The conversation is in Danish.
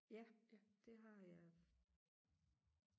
ja det har jeg